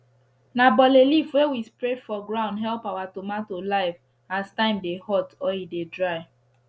na bole leaf wey we spread for ground help our tomato life as time dey hot or e dry